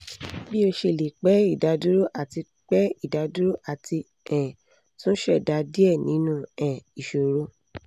bi o ṣe le pẹ idaduro àti pẹ idaduro ati um tun ṣẹda diẹ ninu um iṣoro